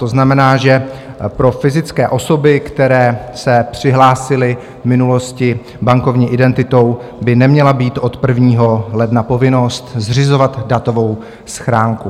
To znamená, že pro fyzické osoby, které se přihlásily v minulosti bankovní identitou, by neměla být od 1. ledna povinnost zřizovat datovou schránku.